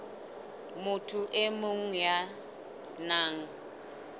motho e mong ya nang